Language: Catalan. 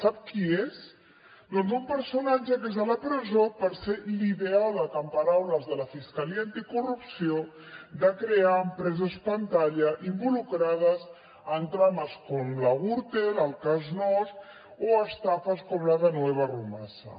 sap qui és doncs un personatge que és a la presó per ser l’ideòleg en paraules de la fiscalia anticorrupció de crear empreses pantalla involucrades en trames com la gürtel el cas nóos o estafes com la de nueva rumasa